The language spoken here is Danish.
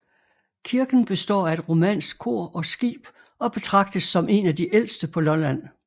Kirken består af et romansk kor og skib og betragtes som en af de ældste på Lolland